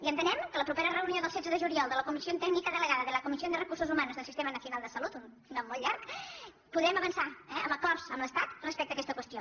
i entenem que a la propera re·unió del setze de juliol de la comisión técnica delegada de la comisión de recursos humanos del sistema nacional de salud un nom molt llarg podrem avançar eh amb acords amb l’estat respecte a aquesta qüestió